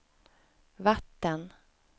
vatten